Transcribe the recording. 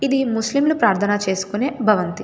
ఇది ముస్లింలు ప్రార్థన చేసుకునే భవంతి.